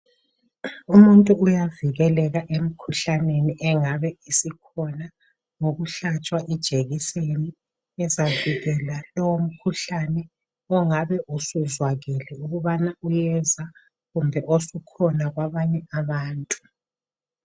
umuntu uyavikeleka emikhuhlaneni engabe isikhona ngokuhlatshwa ijekiseni ezavikela lowo mkhuhlane ongabe usuzwakele ukuthi uyeza kumbe osukhona kwabanye abantu